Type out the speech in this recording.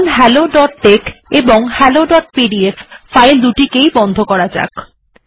এখন hello dot tex এবং hello dot PDF file দুটিকেই বন্ধ করা যাক